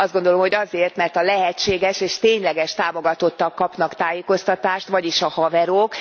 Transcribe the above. Azt gondolom, hogy azért, mert a lehetséges és tényleges támogatottak kapnak tájékoztatást, vagyis a haverok.